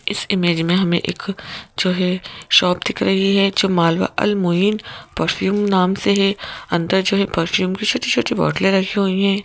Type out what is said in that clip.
इस इमेज में हमें एक जो है शॉप दिख रही है जो मालवाअल मोइन परफ्यूम नाम से है अंदर जो है परफ्यूम की छोटी-छोटी बोतलें रखी हुई हैं।